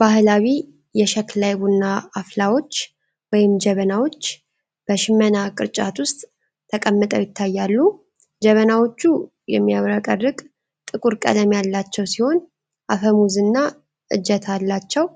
ባህላዊ የሸክላ የቡና አፍላዎች ወይም ጀበናዎች በሽመና ቅርጫት ውስጥ ተቀምጠው ይታያሉ። ጀበናዎቹ የሚያብረቀርቅ ጥቁር ቀለም ያላቸው ሲሆን፣ አፈሙዝና እጀታ አላቸው።